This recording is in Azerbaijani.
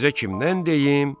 sizə kimdən deyim,